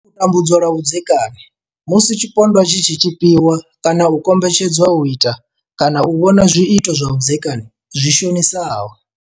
U tambudzwa lwa vhudzekani, Musi tshipondwa tshi tshi tshipiwa kana u kombetshedzwa u ita kana u vhona zwiito zwa vhudzekani zwi shonisaho.